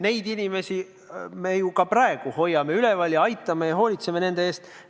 Neid inimesi me ju ka praegu hoiame üleval, aitame neid ja hoolitseme nende eest.